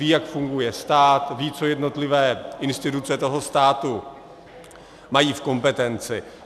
Ví, jak funguje stát, ví, co jednotlivé instituce toho státu mají v kompetenci.